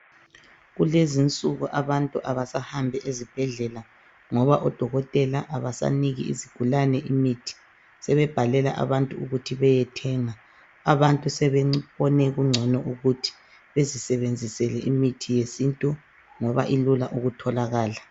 Kulezinsuku abantu abasahambi ezibhedlela ngoba odokotela abasaniki izigulane imithi, sebebhalela abantu ukuthi beyethenga, abantu sebebone kungcono ukuthi bezisebenzisele imithi yesintu ngoba ilula ukutholakala.